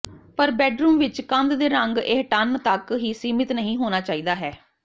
ਪਰ ਬੈੱਡਰੂਮ ਵਿਚ ਕੰਧ ਦੇ ਰੰਗ ਇਹ ਟਨ ਤੱਕ ਹੀ ਸੀਮਿਤ ਨਹੀ ਹੋਣਾ ਚਾਹੀਦਾ ਹੈ